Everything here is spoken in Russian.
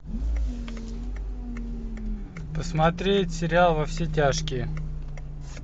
посмотреть сериал во все тяжкие